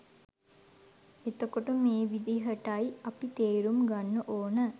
එතකොට මේ විදිහටයි අපි තේරුම් ගන්න ඕන